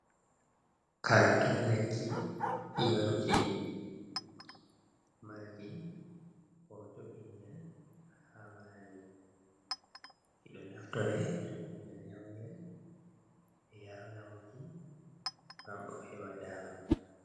Karton lekki yaruki marki ho to bingal ha majum ki do naftore to bingal yaungel be yaranamoki gam o heba dama.